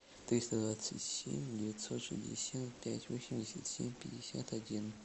триста двадцать семь девятьсот шестьдесят пять восемьдесят семь пятьдесят один